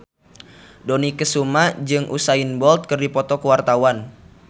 Dony Kesuma jeung Usain Bolt keur dipoto ku wartawan